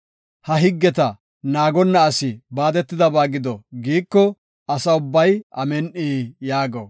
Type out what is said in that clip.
“Ha higgeta naagonna asi baadetidaysa gido” giiko, Asa ubbay, “Amin7i” yaago.